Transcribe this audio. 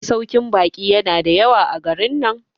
masaukin baki yana da yawa a garin nan